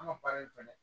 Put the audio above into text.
An ka baara in fɛnɛ